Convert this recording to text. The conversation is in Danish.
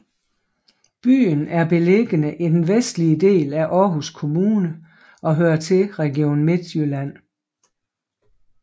Byen er beliggende i den vestlige del af Aarhus Kommune og hører til Region Midtjylland